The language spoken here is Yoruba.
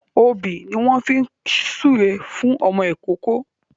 Òbí ni wọ́n fi ń súre fún ọmọ ìkóókó